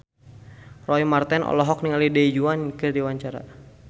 Roy Marten olohok ningali Du Juan keur diwawancara